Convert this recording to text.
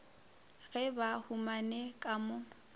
ge ba humane ka mo